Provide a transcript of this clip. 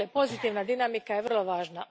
Pozitivna dinamika je vrlo važna.